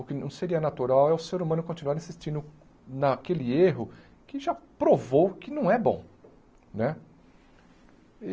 O que não seria natural é o ser humano continuar insistindo naquele erro que já provou que não é bom né.